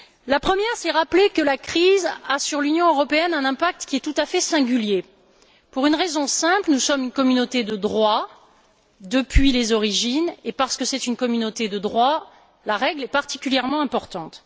La première consiste à rappeler que la crise a sur l'Union européenne un impact qui est tout à fait singulier, pour une raison simple nous sommes une communauté de droit depuis les origines et, dans une communauté de droit, la règle est particulièrement importante.